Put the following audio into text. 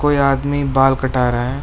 कोई आदमी बाल कटा रहा है।